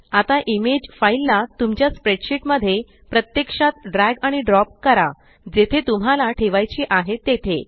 आता image file ला तुमच्या स्प्रेडशीट मध्ये प्रत्यक्षात ड्रॅग आणि ड्रॉप करा जेथे तुम्हाला ठेवायची आहे तेथे